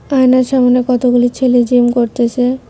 আয়নার সামনে কতগুলি ছেলে জিম করতেসে।